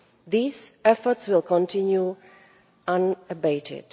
These efforts will continue unabated.